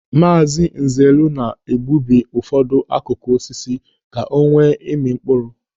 Maazị Nzelu na-egbubi ụfọdụ akụkụ osisi ka o nwee ịmị mkpụrụ.